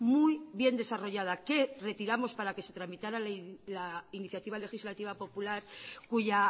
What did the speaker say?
muy bien desarrollada que retiramos para que se tramitara la iniciativa legislativa popular cuya